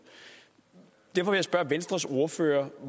derfor vil jeg spørge venstres ordfører